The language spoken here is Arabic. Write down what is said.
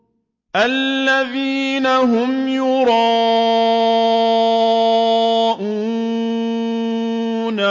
الَّذِينَ هُمْ يُرَاءُونَ